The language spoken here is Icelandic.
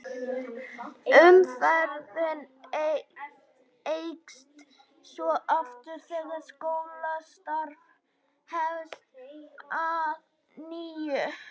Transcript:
Umferðin eykst svo aftur þegar skólastarf hefst að nýju.